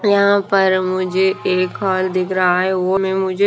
यहां पर मुझे एक हॉल दिख रहा है वो भी मुझे--